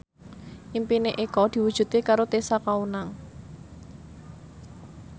impine Eko diwujudke karo Tessa Kaunang